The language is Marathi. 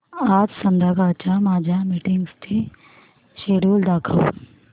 आज संध्याकाळच्या माझ्या मीटिंग्सचे शेड्यूल दाखव